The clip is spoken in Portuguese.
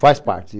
Faz parte.